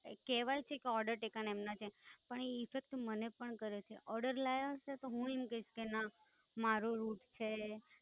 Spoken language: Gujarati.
કહેવાય છે કે Order taken એમના છે, પણ ઈ Effect મને પણ કરે છે. Order લાયા હશે તો હુંય એમ કહીશ કે ના મારો Rut છે.